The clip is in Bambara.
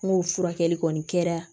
N'o furakɛli kɔni kɛra